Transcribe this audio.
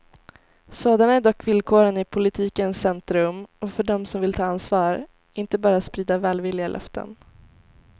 Sådana är dock villkoren i politikens centrum och för dem som vill ta ansvar, inte bara sprida välvilliga löften.